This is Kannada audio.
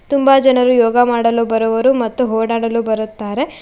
ತುಂಬಾ ಜನರು ಯೋಗ ಮಾಡಲು ಬರುವರು ಮತ್ತು ಓಡಾಡಲು ಬರುತ್ತಾರೆ.